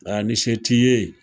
Aa ni se t'i ye.